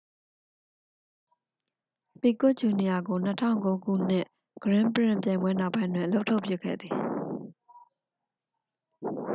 ပီကွက်ဂျူနီယာကို 2009 ခုနှစ် ဂရင်းပရင့်ခ် ပြိုင်ပွဲနောက်ပိုင်းတွင် အလုပ်ထုတ်ပစ်ခဲ့သည်